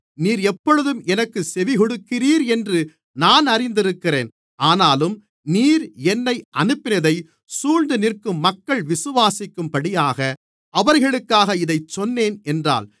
நீர் எப்பொழுதும் எனக்குச் செவிகொடுக்கிறீர் என்று நான் அறிந்திருக்கிறேன் ஆனாலும் நீர் என்னை அனுப்பினதைச் சூழ்ந்து நிற்கும் மக்கள் விசுவாசிக்கும்படியாக அவர்களுக்காக இதைச் சொன்னேன் என்றார்